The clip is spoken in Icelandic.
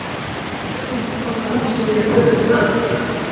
Það er spurning hvort að húsið yfir höfuð standi?